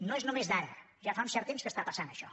no és només d’ara ja fa un cert temps que està passant això